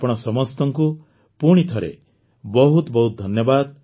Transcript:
ଅପାଣ ସମସ୍ତଙ୍କୁ ପୁଣିଥରେ ବହୁତ ବହୁତ ଧନ୍ୟବାଦ